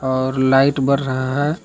और लाइट बर रहा है।